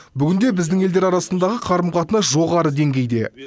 бүгінде біздің елдер арасындағы қарым қатынас жоғары деңгейде